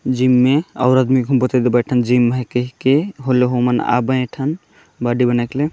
gym मे और आदमी को बूतहे तो बैठन जिम हे कहि ई के हुल होमन आ बैठन बॉडी बनायकेले--